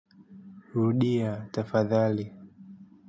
Rudia tafadhali.